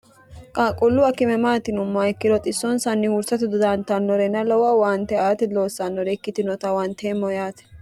qaaqqullu akime maati yinummoha ikkiro xissonsanni huursato dodaantannorena lowo owaante aata loossannore ikkitinota huwanteemmo yaate